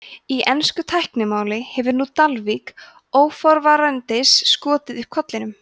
í ensku tæknimáli hefur nú dalvík óforvarandis skotið upp kollinum